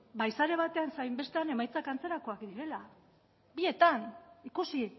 bai sare batean zein bestean emaitzak antzerakoak direla bietan ikusi